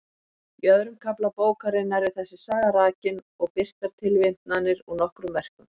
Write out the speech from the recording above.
Í öðrum kafla bókarinnar er þessi saga rakin og birtar tilvitnanir úr nokkrum verkum.